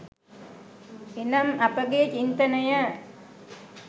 එනම් අපගේ චින්තනය